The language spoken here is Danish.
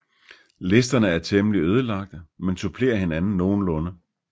Listerne er temmelig ødelagte men supplerer hinanden nogenlunde